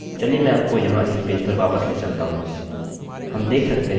चलिए मैं आपको यहाँ इस पेज पर वापस ले चलता हूँ हम देख सकते हैं कि सब कुछ ठीक कार्य कर रहा है